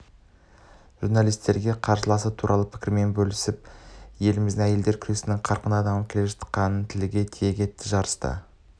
журналистерге қарсыласы туралы пікірімен бөлісіп елімізде әйелдер күресінің қарқынды дамып жатқандығын тілге тиек етті жарыста